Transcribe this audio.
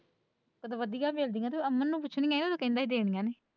ਸਗੋਂ ਵਧੀਆ ਮਿਲਦੀਆਂ ਨੇ ਤੇ ਅਮਨ ਨੂੰ ਪੁੱਛਣ ਗਏ ਨਾਂ ਕਹਿੰਦੇ ਦੇਣੀਆਂ ਨਹੀਂ।